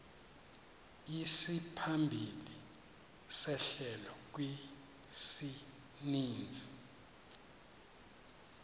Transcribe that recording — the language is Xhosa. isimaphambili sehlelo kwisininzi